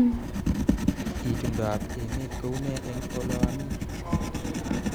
Itondoab emet kounee eng oloami